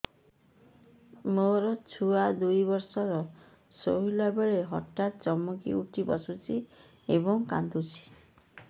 ମୋ ଛୁଆ ଦୁଇ ବର୍ଷର ଶୋଇଲା ବେଳେ ହଠାତ୍ ଚମକି ଉଠି ବସୁଛି ଏବଂ କାଂଦୁଛି